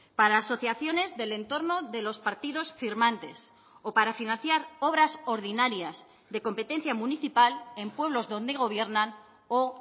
para asociaciones del entorno de los partidos firmantes o para financiar obras ordinarias de competencia municipal en pueblos donde gobiernan o